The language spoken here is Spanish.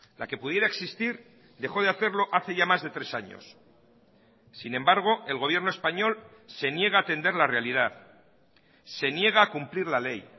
la que pudiera existir dejó de hacerlo hace ya más de tres años sin embargo el gobierno español se niega a atender la realidad se niega a cumplir la ley